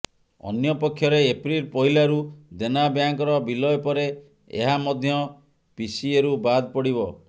ଅନ୍ୟପକ୍ଷରେ ଏପ୍ରିଲ ପହିଲାରୁ ଦେନା ବ୍ୟାଙ୍କର ବିଲୟ ପରେ ଏହା ମଧ୍ୟ ପିସିଏରୁ ବାଦ୍ ପଡିବ